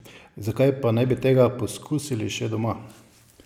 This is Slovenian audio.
Zakaj pa ne bi tega poskusili še doma?